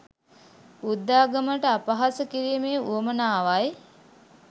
බුද්ධාගමට අපහාස කිරිමේ උවමනාවයි